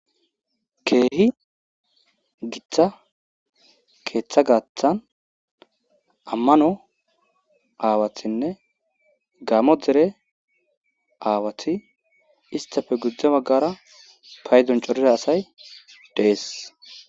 Keehi giththa keeththa gaathan ammano aawathinne gaamo dzere aawati istafe gudzdze baggara paydoncorira asay dees.